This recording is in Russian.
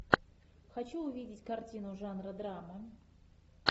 хочу увидеть картину жанра драма